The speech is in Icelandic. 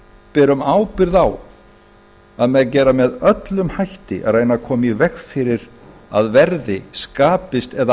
berum ábyrgð á að með öllum hætti að reyna að koma í veg fyrir að verði skapist eða